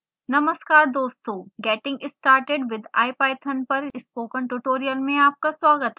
नमस्कार दोस्तों getting started with ipython पर स्पोकन ट्यूटोरियल में आपका स्वागत है